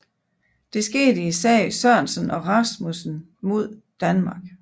Det skete i sagen Sørensen og Rasmussen mod Danmark